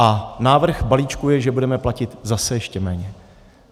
A návrh balíčku je, že budeme platit zase ještě méně.